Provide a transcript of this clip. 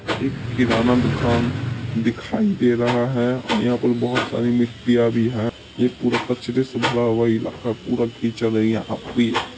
एक किराना दुकान दिखाई दे रहा है और यहां पर बहोत मिट्टियां भी है ये पूरा पश्चिली से भरा हुआ इलाका पूरा कीचड़ है यहां पे---